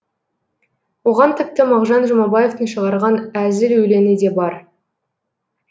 оған тіпті мағжан жұмабаевтың шығарған әзіл өлеңі де бар